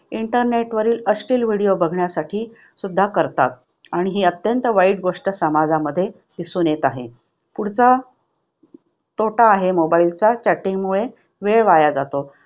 Internet वरील अश्लील video बघण्यासाठी सुद्धा करतात आणि ही अत्यंत वाईट गोष्ट समाजामध्ये दिसून येत आहे. पुढचा तोटा आहे mobile चा chatting मुळे वेळ वाया जातो.